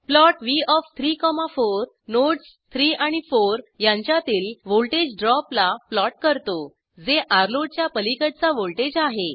plot व्ह ओएफ 34 nodes 3 आणि 4 यांच्यातील व्हॉल्टेज ड्रॉपला प्लॉट करतो जे र्लोड च्या पलिकडचा व्हॉल्टेज आहे